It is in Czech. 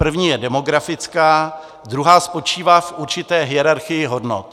První je demografická, druhá spočívá v určité hierarchii hodnot.